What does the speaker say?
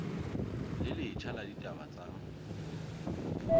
le letjha la ditaba tsa